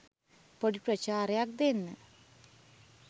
පොඩි ප්‍රචාරයක් දෙන්න.